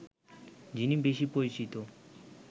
যিনি বেশী পরিচিত